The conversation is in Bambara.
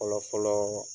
Fɔlɔ fɔlɔ